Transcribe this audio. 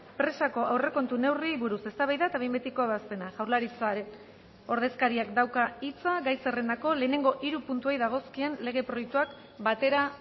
presako aurrekontu neurriei buruz eztabaida eta behin betiko ebazpena jaurlaritzaren ordezkariak dauka hitza gai zerrendako lehenengo hiru puntuei dagozkien lege proiektuak batera